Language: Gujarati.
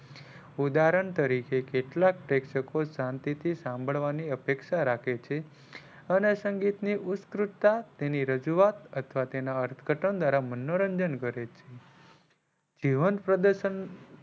ઉઅદહરણ તરીકે કેટલાક પ્રેક્ષકો શાંતિ થી સાંભળવાની અપેક્ષા રાખે છે અને સંગીત ની ઉત્ક્રુતતા તેની રજૂઆત અથવા તેના અર્થઘટન દ્વારા મનોરંજન કરે છે. જીવન,